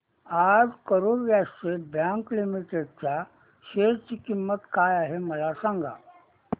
आज Karur Vysya bank limited च्या share ची किंमत काय आहे मला सांगा